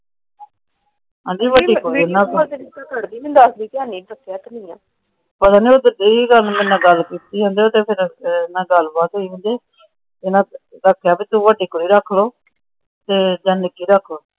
ਪਤਾ ਨਹੀਂ ਉਧਰ ਗਈ ਸੀ। ਕੇਂਦੇ ਗੱਲਬਾਤ ਹੋਈ ਸੀ ਵੀ ਵੱਡੀ ਕੁੜੀ ਤੁਸੀਂ ਰੱਖ ਲੋ ਤੇ ਚਾਹੇ ਨਿੱਕੀ ਰੱਖ ਲੋ।